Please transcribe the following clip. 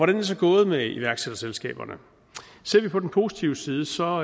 det så gået med iværksætterselskaberne ser vi på den positive side så